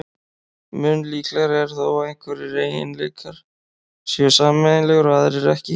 Mun líklegra er þó að einhverjir eiginleikar séu sameiginlegir og aðrir ekki.